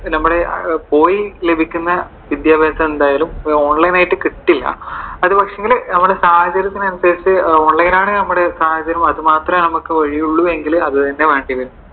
നമ്മുടെ പോയി ലഭിക്കുന്ന വിദ്യാഭ്യാസം എന്തായാലും ഈ online ആയിട്ട് കിട്ടില്ല. അതുപക്ഷേ എങ്കിൽ നമ്മുടെ സാഹചര്യത്തിന് അനുസരിച്ചു, online ആണ് നമ്മുടെ സാഹചര്യം അതുമാത്രമേ നമുക്കു ഒഴിവു ഉള്ളു എങ്കിൽ അത് തന്നെ വേണ്ടി വരും.